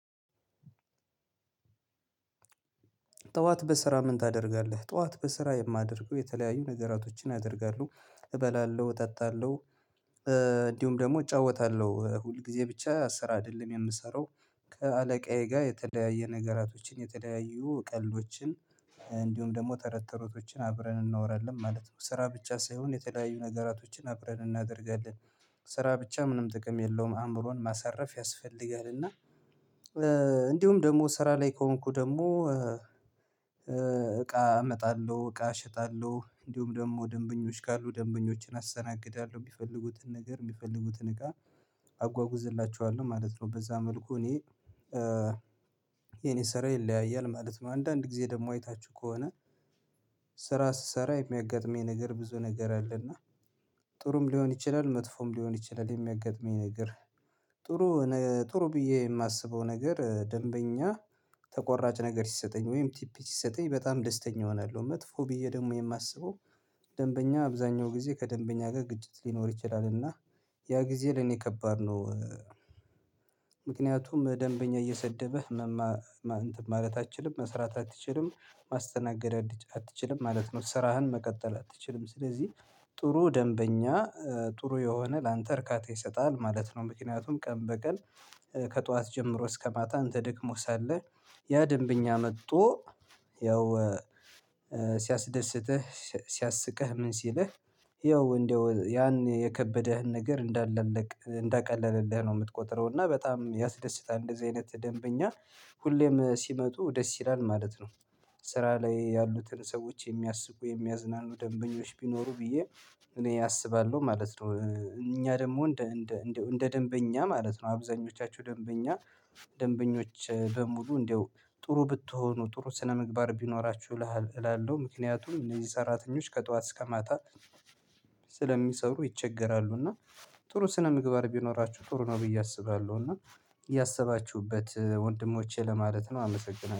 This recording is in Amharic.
ጠዋት በስራ ምን ታደርጋለህ ጠዋት በስራ የማደርገው የተለያዩ ነገራቶችን አደርጋለሁ እበላለሁ እጣጣለሁ። እንዲሁም ደግሞ እጫወታለሁ ሁል ጊዜ ብቻ ስራ አይደለም የምሰራው። ከአለቃዬ ጋር የተለያዩ ነገራቶችን የተለያዩ ቀልዶችን እንዲሁም ደግሞ ተረት ተረቶችን አብረን እናወራለን ማለት ነው። ስራ ብቻ ሳይሆን የተለያዩ ነገራቶችን አብረን እናደርጋለን። ስራ ብቻ ምንም ጥቅም የለውም አእምሮን ማሳረፍ ያስፈልጋል። እና። እንዲሁም ደሞ ስራ ላይ ከሆንኩ ደሞ እቃ እመጣለሁ እቃ እሸጣለሁ እንዲሁም ደሞ ደንበኞች ካሉ ደንበኞችን አስተናግዳለሁ ቢፈልጉትን ነገር የሚፈልጉትን እቃ አጓጉዝላችኋለሁ ማለት ነው። በዛ መልኩ እኔ የኔ ስራ ይለያያል ማለት ነው። አንዳንድ ጊዜ ደግሞ አይታችሁ ከሆነ ስራ ስሰራ የሚያጋጥመኝ ነገር ብዙ ነገር አለና። ጥሩም ሊሆን ይችላል መጥፎም ሊሆን ይችላል የሚያጋጥመኝ ነገር። ጥሩ ጥሩ ብዬ የማስበው ነገር ደንበኛ ተቆራጭ ነገር ሲሰጠኝ ወይም ቲፒ ሲሰጠኝ በጣም ደስተኛ እሆናለሁ። መጥፎ ብዬ ደግሞ የማስበው። ደንበኛ አብዛኛው ጊዜ ከደንበኛ ጋር ግጭት ሊኖር ይችላል እና ያ ጊዜ ለኔ ከባድ ነው። ምክንያቱም ደንበኛ እየሰደበህ ማለት አትችልም መስራት አትችልም ማስተናገድ አትችልም ማለት ነው። ስራህን መቀጠል አትችልም ስለዚህ። ጥሩ ደንበኛ ጥሩ የሆነ ላንተ እርካታ ይሰጣል ማለት ነው። ምክንያቱም ቀን በቀን ከጧት ጀምሮ እስከ ማታ እንተ ደክሞ ሳለህ። ያ ደንበኛ መጥቶ ያው ሲያስደስትህ ሲያስቅህ ምን ሲልህ ያው እንደው ያን የከበደህን ነገር እንዳለለቅ እንዳቀለልልህ ነው። የምትቆጥረው እና በጣም ያስደስታ እንደዚህ አይነት ደንበኛ ሁሌም ሲመጡ ደስ ይላል ማለት ነው። ስራ ላይ ያሉትን ሰዎች የሚያስቁ የሚያዝናኑ ደንበኞች ቢኖሩ ብዬ እኔ አስባለሁ ማለት ነው። እኛ ደሞ እንደ እንደ እንደ እንደ ደንበኛ ማለት ነው አብዛኞቻችሁ ደንበኛ ደንበኞች በሙሉ እንደው ጥሩ ብትሆኑ ጥሩ ስነምግባር ቢኖራችሁ እላለሁ። ምክንያቱም እነዚህ ሰራተኞች ከጧት እስከ ማታ ስለሚሰሩ ይቸገራሉ። እና ጥሩ ስነ ምግባር ቢኖራችሁ ጥሩ ነው ብዬ አስባለሁ። እና ያሰባቹበት ወንድሞቼ ለማለት ነው አመሰግናለሁ